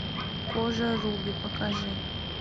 кожа руби покажи